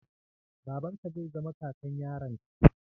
Babanka zai zama kakan yaron ka.